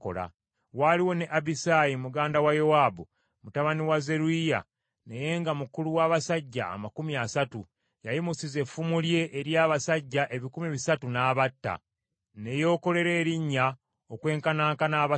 Waaliwo ne Abisaayi muganda wa Yowaabu, mutabani wa Zeruyiya, naye nga mukulu w’abasajja amakumi asatu. Yayimusiza effumu lye eri abasajja ebikumi bisatu n’abatta, ne yeekolera erinnya okwenkanankana abasatu.